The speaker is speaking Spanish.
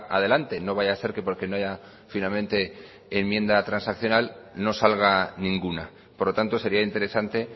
adelante no vaya a ser que porque no haya finalmente enmienda transaccional no salga ninguna por lo tanto sería interesante